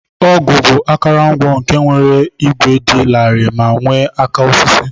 Ọgụ bu akọrọngwa nke nwere igwe di lari me nwe aka osisi.